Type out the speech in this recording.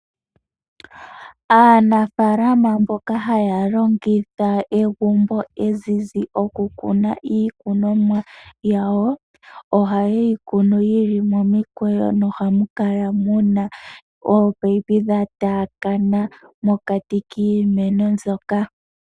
Aanafalama mboka haya longitha egumbo ezizi okukuna iikunomwa yawo, oha ye yi kunu yi li momikweyo nomuhamu kala muna oopayipi dha taakana mokati kiimeno mbyoka.